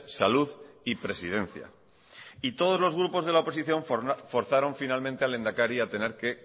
salud y presidencia y todos los grupos de la oposición forzaron finalmente al lehendakari a tener que